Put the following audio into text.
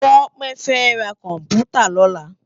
Tope fè rá kòmpútá lòlá